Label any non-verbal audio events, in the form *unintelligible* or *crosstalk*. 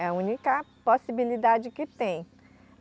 É a única possibilidade que tem. *unintelligible*